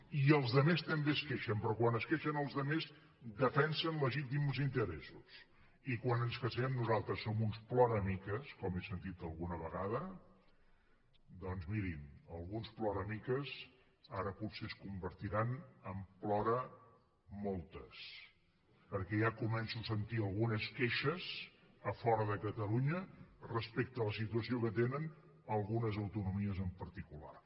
i els altres també es queixen però quan es queixen els altres defensen legítims interessos i quan ens queixem nosaltres som uns ploramiques com he sentit alguna vegada doncs mirin alguns ploramiques ara potser es convertiran en ploramoltes perquè ja començo a sentir algunes queixes a fora de catalunya respecte a la situació que tenen algunes autonomies en particular